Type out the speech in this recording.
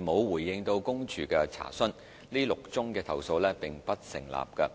沒有回應公署的查詢，這6宗投訴並不成立。